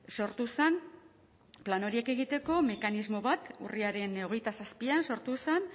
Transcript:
sortu zen plan horiek egiteko mekanismo bat urriaren hogeita zazpian sortu zen